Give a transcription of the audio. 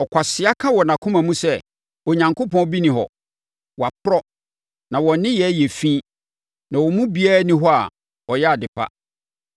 Ɔkwasea ka wɔ nʼakoma mu sɛ, “Onyankopɔn bi nni hɔ.” Wɔaporɔ, na wɔn nneyɛɛ yɛ fi na wɔn mu biara nni hɔ a ɔyɛ ade pa.